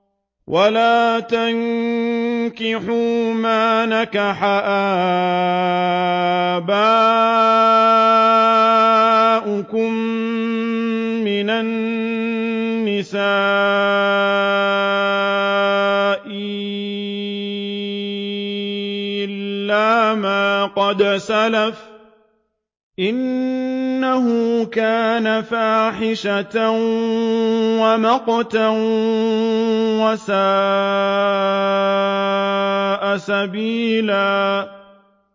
وَلَا تَنكِحُوا مَا نَكَحَ آبَاؤُكُم مِّنَ النِّسَاءِ إِلَّا مَا قَدْ سَلَفَ ۚ إِنَّهُ كَانَ فَاحِشَةً وَمَقْتًا وَسَاءَ سَبِيلًا